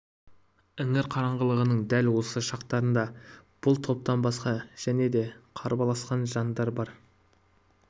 іңір қараңғылығының дәл осы шақтарында бұл топтан басқа және де қарбаласқан жандар бар